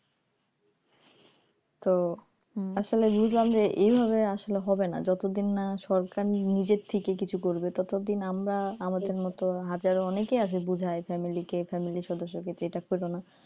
তো আসলে বুঝলাম যে এইভাবে আসলে হবে না যতদিন না সরকার নিজের থেকে কিছু করবে ততদিন আমরা আমাদের মত হাজারও অনেকে আছে বুঝাই family কে family সদস্যকে যে এটা করোনা